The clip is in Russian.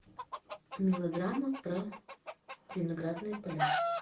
мелодрама про виноградные поля